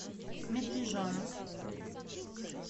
медвежонок